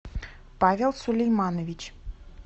павел сулейманович